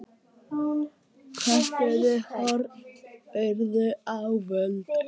Köntuð hornin urðu ávöl.